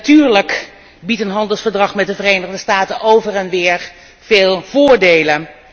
Dus natuurlijk biedt een handelsverdrag met de Verenigde Staten over en weer veel voordelen.